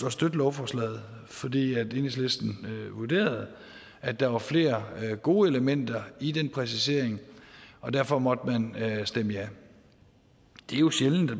at støtte lovforslaget fordi enhedslisten vurderede at der var flere gode elementer i den præcisering og derfor måtte man stemme ja det er jo sjældent at